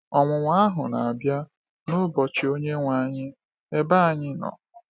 Ọnwụnwa ahụ na-abịa n’ụbọchị Onyenwe anyị, ebe anyị nọ.